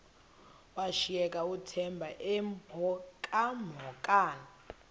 washiyeka uthemba emhokamhokana